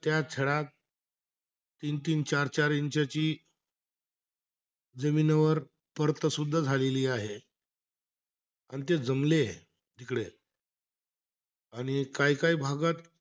त्या सड्यात तीन-तीन, चार-चार इंचची जमिनीवर परतं सुद्धा झालेली आहे. आणि ते जमलेयं, तिकडे. आणि काई काई भागात,